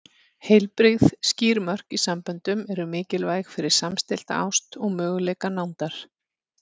Heilbrigð, skýr mörk í samböndum eru mikilvæg fyrir samstillta ást og möguleika nándar.